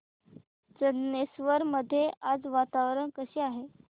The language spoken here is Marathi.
चंदनेश्वर मध्ये आज वातावरण कसे आहे